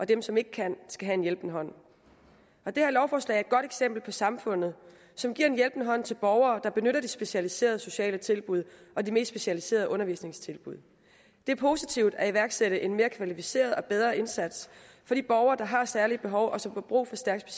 dem som ikke kan skal have en hjælpende hånd det her lovforslag er et godt eksempel på samfundet som giver en hjælpende hånd til borgere der benytter de specialiserede sociale tilbud og de mest specialiserede undervisningstilbud det er positivt at iværksætte en mere kvalificeret og bedre indsats for de borgere der har særlige behov og som har brug for stærkt